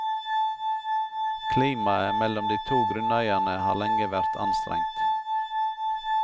Klimaet mellom de to grunneierne har lenge vært anstrengt.